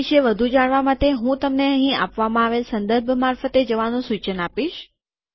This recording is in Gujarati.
તે વિષે વધુ જાણવા માટે હું તમને અહીં આપવામાં આવેલ સંદર્ભ મારફતે જવાનું સુચન આપીશ